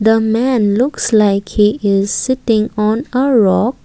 the man looks like he is sitting on a rock.